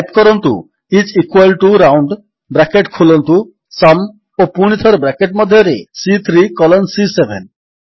type କରନ୍ତୁ I S equal T O round bracket ଖୋଲନ୍ତୁ sum ଓ ପୁଣିଥରେ ବ୍ରାକେଟ୍ ମଧ୍ୟରେ ସି3 କଲନ୍ ସି7